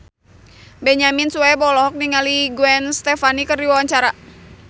Benyamin Sueb olohok ningali Gwen Stefani keur diwawancara